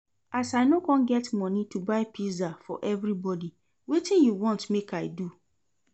As I no come get money to buy pizza for everybody, wetin you wan make I do?